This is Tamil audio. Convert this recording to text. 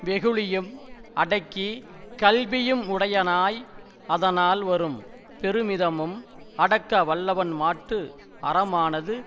வெகுளியும் அடக்கி கல்வியுமுடையனாய் அதனால் வரும் பெருமிதமும் அடக்கவல்லவன்மாட்டு அறமானது